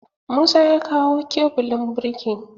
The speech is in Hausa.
Musa ya kawo kebulin birki.